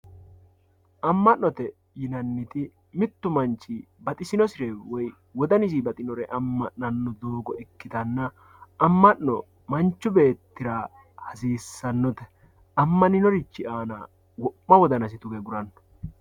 amma'note yinanniti mittu manchi baxisinosire woye wodanisi baxinore amma'nanno doogo ikkitanna amma'no manchu beettira hasissannote ammaninorichi aana wo'ma wodanasi tuge aguranno.